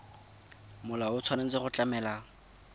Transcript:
molao o tshwanetse go tlamela